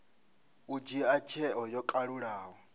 u dzhia tsheo yo kalulaho